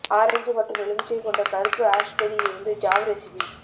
orange மற்றும் எலுமிச்சை கொண்ட கருப்பு ஆஷ்பெரி இருந்து ஜாம் ரெசிபி